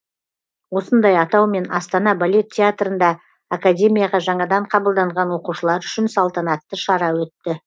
осындай атаумен астана балет театрында академияға жаңадан қабылданған оқушылар үшін салтанатты шара өтті